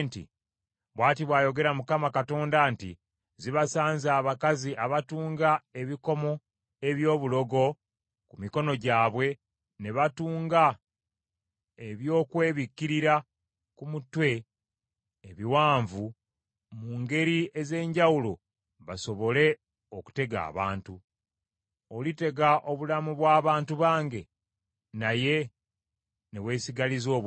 ‘Bw’ati bw’ayogera Mukama Katonda nti, Zibasanze abakazi abatunga ebikomo eby’obulogo ku mikono gyabwe ne batunga ebyokwebikkirira ku mutwe ebiwanvu mu ngeri ez’enjawulo basobole okutega abantu. Olitega obulamu bw’abantu bange, naye ne weesigaliza obubwo?